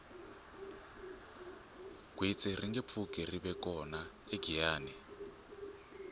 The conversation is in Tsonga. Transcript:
gwitsi ringe pfuki rive kona egiyani